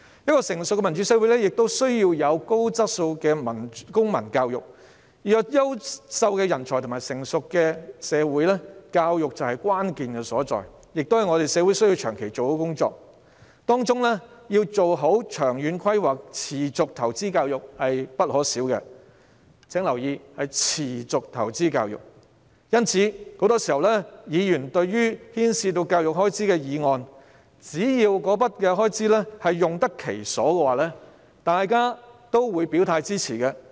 一個成熟的民主社會需要有高質素的公民教育，要培育優秀的人才和發展成熟的社會，教育就是關鍵所在，亦是我們社會需要長期進行的工作，當中要做好長遠規劃，持續投資教育是必不可少的——請注意，是持續投資教育——因此，對於牽涉教育開支的議案，只要開支用得其所，議員都會支持。